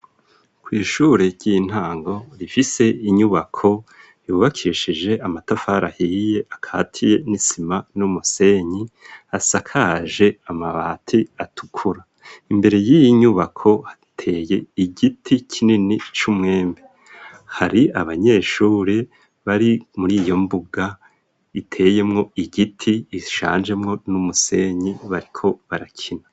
Kw'ishure ry'intango rifise inyubako yubakishije amatafarahiye akatiye n'isima n'umusenyi asakaje amabati atukura imbere y'inyubako ateye igiti kinini c'umwemi hari abanyeshure bari muri iyo mbuga iteyemwo igiti ishanjemwo n'umusenyi batiko barakina.